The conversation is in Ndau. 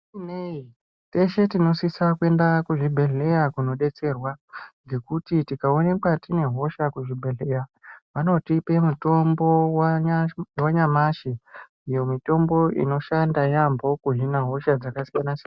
Zvisinei teshe tinosisa kuende kuzvibhedhlera koodetserwa ngekuti tikaoneka tine hosha kuzvibhedhlera vanotipe mitombo wanyamashi, mitombo inoshanda yaamho kuhine hosha dzakasiyana siyana.